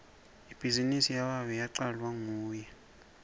ibhizinisi yababe yacalwa nguye